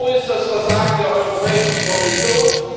Wo ist das Versagen der Europäischen Kommission?